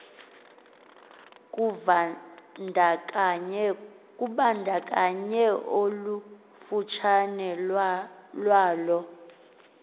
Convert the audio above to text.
kuvandakanye olufutshane lwalo